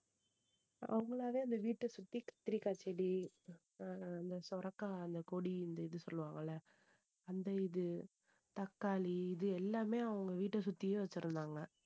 அவங்களாவே அந்த வீட்டை சுத்தி கத்திரிக்காய் செடி அஹ் அந்த சுரைக்காய் அந்த கொடி இந்த இது சொல்லுவாங்கல்ல அந்த இது தக்காளி இது எல்லாமே அவங்க வீட்டை சுத்தியே வச்சிருந்தாங்க